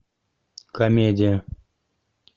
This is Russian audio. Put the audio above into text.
комедия